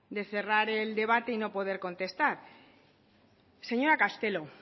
de cerrar el debate y no poder contestar señora castelo